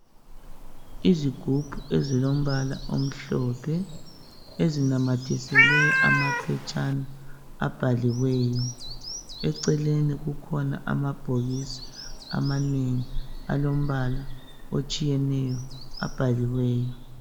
Izigubhu ezilombala omhlophe ezinamathiselwe amaphetshana abhaliweyo, eceleni kukhona amabhokisi amanengi alombala otshiyeneyo abhaliweyo.